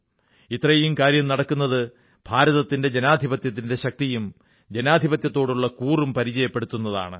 ഇത്രയും കാര്യം നടക്കുന്നത് ഭാരതത്തിന്റെ ജനാധിപത്യത്തിന്റെ ശക്തിയും ജനാധിപത്യത്തോടുള്ള കൂറും പരിചയപ്പെടുത്തുന്നതാണ്